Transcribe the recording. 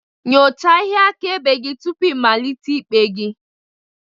Nyochaa ihe akaebe gị tupu ịmalite ikpe gị